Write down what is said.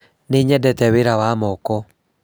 Nĩ nyendete wĩra Wa moko.